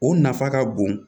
O nafa ka bon